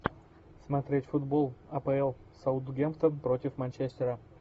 смотреть футбол апл саутгемптон против манчестера